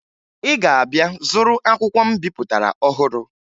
Ị ga-abịa zụrụ akwụkwọ m bipụtara ọhụru